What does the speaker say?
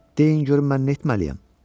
Deyin görün mən netməliyəm.